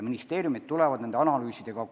Ministeeriumid tulevad nende analüüsidega välja.